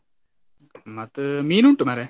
ಮತ್ತ್ ಮೀನ್ ಉಂಟು ಮಾರ್ರೆ.